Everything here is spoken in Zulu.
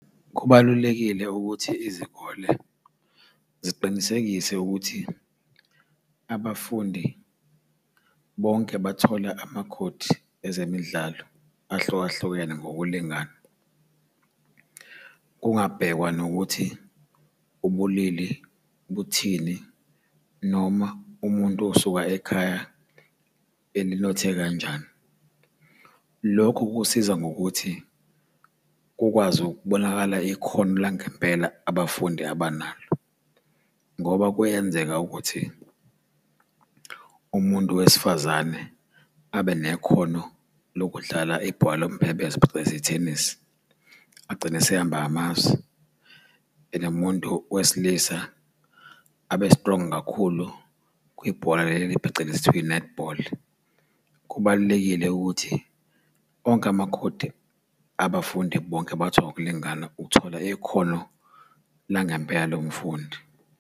Kubalulekile ukuthi izikole ziqinisekise ukuthi abafundi bonke bathole amakhodi ezemidlalo ahlukahlukene ngokulingana, kungabhekwa nokuthi ubulili buthini, noma umuntu usuka ekhaya elinothe kanjani. Lokho kusiza ngokuthi, kukwazi ukubonakala ikhono langempela abafundi abanalo, ngoba kuyenzeka ukuthi umuntu wesifazane abe nekhono lokudlala ibhola lomphebezo phecelezi i-tennis, agcine esehamba amazwe. Nomuntu wesilisa abe strong kakhulu kwibhola leli phecelezi ekuthiwa i-netball. Kubalulekile ukuthi onke amakhodi abafundi bonke bawathole ngokulingana, uthola ikhono langempela umfundi.